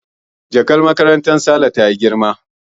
Jakar makarantar Saleh ta yi girma